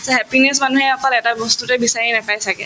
happiness মানুহে অকল এটা বস্তুতো বিচাৰি নাপাই ছাগে